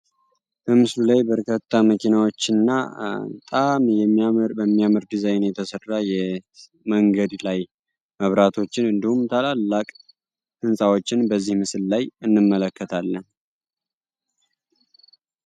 በምስሉ ላይ በርካታ መኪናዎችን እና በጣም በሚያምር ዲዛይን የተሰራጀመንገድ ላይ መብራቶን ታላላቅ ህንፃዎች በዚህ ምስል ላይ እንመለከታልን።